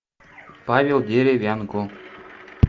павел деревянко